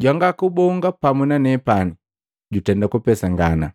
jwanga kubonga pamu na nepani jutenda kupesangana.